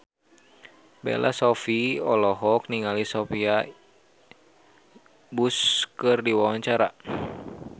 Bella Shofie olohok ningali Sophia Bush keur diwawancara